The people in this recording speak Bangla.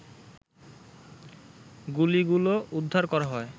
গুলিগুলো উদ্ধার করা হয়